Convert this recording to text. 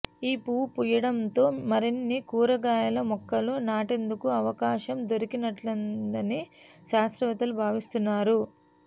ఈ పువ్వు పూయడంతో మరిన్ని కూరగాయల మొక్కలు నాటేందుకు అవకాశం దొరికినట్లయిందని శాస్త్రవేత్తలు భావిస్తున్నారు